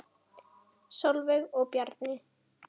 Sólveig og Bjarni.